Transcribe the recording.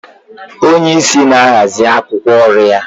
Onye isi na-ahazi akwụkwọ oru ya.